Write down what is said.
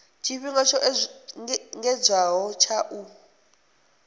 tshifhinga tsho engedzedzwaho tsha u